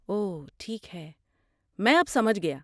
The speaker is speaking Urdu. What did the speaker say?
اوہ ٹھیک ہے، میں اب سمجھ گیا۔